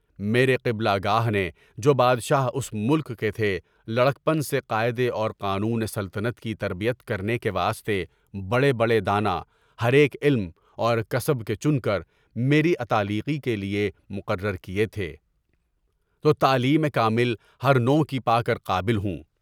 میرے قبلہ گاہ نے، جو بادشاہ اس ملک کے تھے، لڑکپن سے قاعدے اور قانون سلطنت کی تربیت کرنے کے واسطے بڑے بڑے دانہ، ہر ایک علم و کسب کے چن کر میرے معاملاتِ تعلیمی کے لیے مقرر کیے تھے، تو تعلیم کامل نوع کی پا کر قابل ہوں